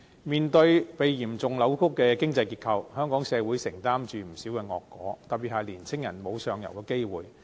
面對被嚴重扭曲的經濟結構，香港社會承擔着不少惡果，特別是年青人沒有上游的機會。